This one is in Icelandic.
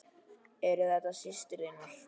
Eru þetta systur þínar?